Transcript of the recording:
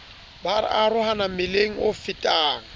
ba arohana mmileng o fetang